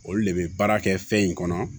Olu le be baara kɛ fɛn in kɔnɔ